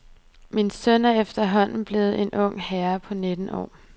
Min søn er efterhånden er blevet en ung herre på nitten år.